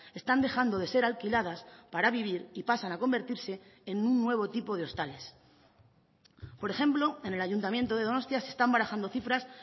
están dejando de ser alquiladas para vivir y pasan a convertirse en un nuevo tipo de hostales por ejemplo en el ayuntamiento de donostia se están barajando cifras